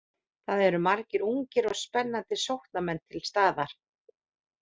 Það eru margir ungir og spennandi sóknarmenn til staðar.